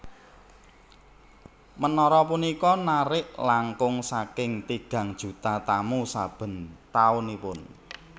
Menara punika narik langkung saking tigang juta tamu saben taunipun